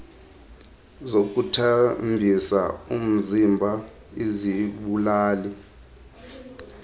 zokuthambisa umziba izibulali